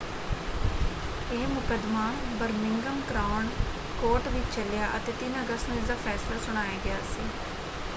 ਇਹ ਮੁਕੱਦਮਾ Birmingham crown court ਵਿੱਚ ਚੱਲਿਆ ਅਤੇ 3 ਅਗਸਤ ਨੂੰ ਇਸਦਾ ਫੈਸਲਾ ਸੁਣਾਇਆ ਗਿਆ ਸੀ।